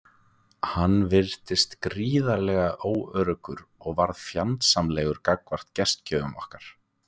Hann virtist gríðarlega óöruggur og varð fjandsamlegur gagnvart gestgjöfum okkar.